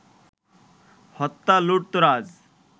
হত্যা, লুটতরাজ